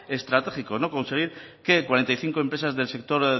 estratégico conseguir que cuarenta y cinco empresas del sector